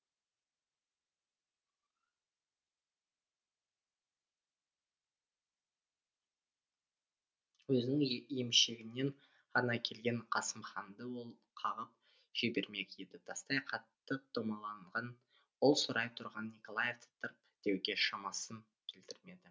өзінің емшегінен ғана келген қасымханды ол қағып жібермек еді тастай қатты домаланған ол сорайып тұрған николаевты тырп деуге шамасын келтірмеді